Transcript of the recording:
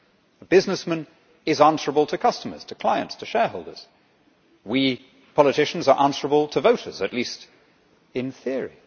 The businessman is answerable to customers, clients and shareholders. We politicians are answerable to voters, at least in theory.